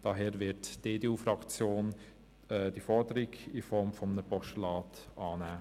Daher wird die EDU-Fraktion diese Forderung in Form eines Postulats annehmen.